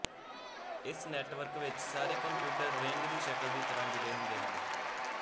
ਇਸ ਨੈੱਟਵਰਕ ਵਿੱਚ ਸਾਰੇ ਕੰਪਿਊਟਰ ਰਿੰਗ ਦੀ ਸ਼ਕਲ ਦੀ ਤਰਾਂ ਜੁੜੇ ਹੁੰਦੇ ਹਨ